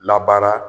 Labaara